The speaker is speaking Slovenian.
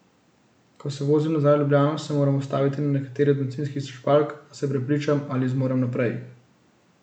Ko se vozim nazaj v Ljubljano, se moram ustaviti na kateri od bencinskih črpalk, da se prepričam, ali zmorem naprej.